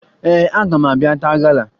Ee, aga m abịa taa gala